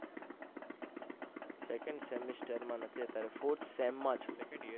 second semester માં નથી અત્યારે fourth sem માં છુ